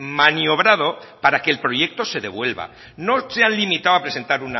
maniobrado para que el proyecto de devuelva no se han limitado a presentar